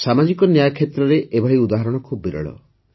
ସାମାଜିକ ନ୍ୟାୟ କ୍ଷେତ୍ରରେ ଏଭଳି ଉଦାହରଣ ଖୁବ୍ ବିରଳ